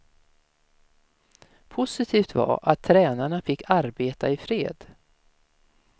Positivt var att tränarna fick arbeta i fred.